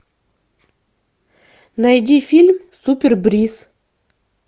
найди фильм супер бриз